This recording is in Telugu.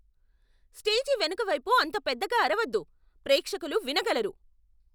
స్టేజి వెనుక వైపు అంత పెద్దగా అరవొద్దు. ప్రేక్షకులు వినగలరు.